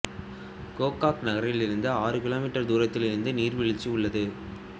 கோகாக் நகரிலிருந்து ஆறு கிலோமீட்டர் தூரத்தில் இந்த நீர்வீழ்ச்சி உள்ளது